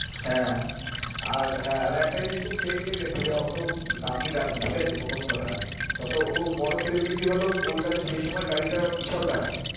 হ্যাঁ, আর হ্যাঁ একটা জিনিস খুব fake লেগেছে অতো দামি গাড়ি ঠিক আছে? প্রথম কথা যত ও বড় celebrity হল তো ওর কাছে সেই সময় গাড়ি টা বিশাল দামি।